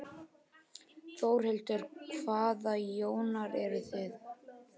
Þórhildur: Hvaða Jónar eruð þið?